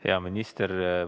Hea minister!